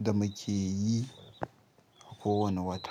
da muke yi kowane wata.